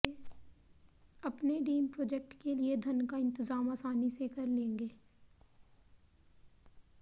अपने dream project के लिए धन का इंतज़ाम आसानी से कर लेंगे